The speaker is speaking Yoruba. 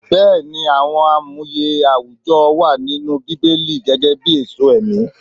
Bẹẹni, àwọn amuye àwùjọ wà nínú Bíbélì gẹ́gẹ́bí èso ẹ̀mí.